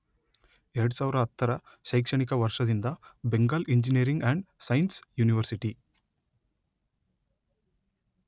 ಎರಡು ಸಾವಿರದ ಹತ್ತರ ಶೈಕ್ಷಣಿಕ ವರ್ಷದಿಂದ Bengal engineering and science university